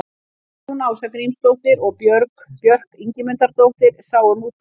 Guðrún Ása Grímsdóttir og Björk Ingimundardóttir sáu um útgáfuna.